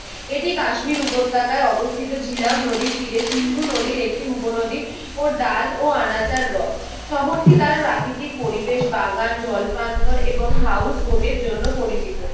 এটি কাশ্মীর উপতক্যায় অবস্থিত ঝিলাম নদীর তীরে সিন্ধু নদীর একটি উপনদী ও ডাল ও আনাচার রস। শহরটি তার প্রাকৃতিক পরিবেশ, বাগান, জল প্রান্তর এবং হাউজ বোটের জন্য পরিচিত।